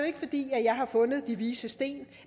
ikke fordi jeg har fundet de vises sten